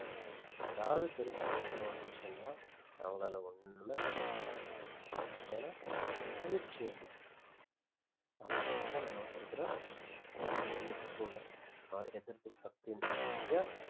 எதாவது பெருசா யுத்தம் வந்துச்சுன்னா அவங்களால ஒண்ணுமே பண்ண முடியாது ஏன்னா பயிற்சி இல்ல அதே போல தான் நம்மளுக்கு இருக்குற immunity கூட or எதிர்ப்புசக்தின்னு சொல்றோமில்லயா